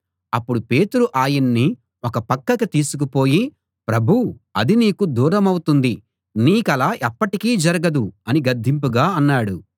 అప్పుడు పేతురు ఆయన్ని ఒక పక్కకి తీసుకు పోయి ప్రభూ అది నీకు దూరమవుతుంది నీకలా ఎప్పటికీ జరగదు అని గద్దింపుగా అన్నాడు